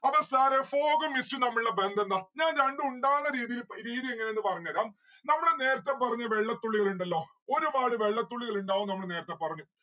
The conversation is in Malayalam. അപ്പൊ sir എ fog ഉം mist ഉം തമ്മിലുള്ള ബന്ധം എന്താ? ഞാൻ രണ്ടു ഉണ്ടാകണ രീതിയിൽ രീതി എങ്ങനെയെന്ന് പറഞ്ഞേരാം. നമ്മള് നേരത്തെ പറഞ്ഞ വെള്ളത്തുള്ളികൾ ഇണ്ടല്ലോ ഒരുപാട് വെള്ളത്തുള്ളികൾ ഇണ്ടാവും നമ്മള് നേരത്തെ പറഞ്ഞു